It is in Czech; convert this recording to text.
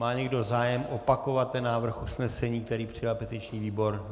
Má někdo zájem opakovat ten návrh usnesení, který přijal petiční výbor?